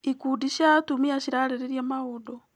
Ikundi cia atumia cirarĩrĩria maũndũ.